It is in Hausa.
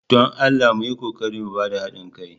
don Allah mu yi ƙoƙari mu ba da haɗin kai.